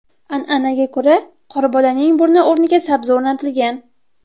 An’anaga ko‘ra qorbolaning burni o‘rniga sabzi o‘rnatilgan.